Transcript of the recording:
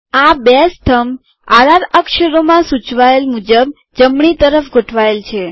આ બે સ્તંભ આર આર અક્ષરોમાં સૂચવાયેલ મુજબ જમણી તરફ ગોઠવાયેલ છે